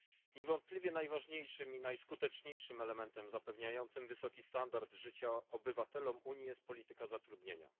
Niewątpliwie najważniejszym i najskuteczniejszym elementem zapewniającym wysoki standard życia obywatelom Unii jest polityka zatrudnienia.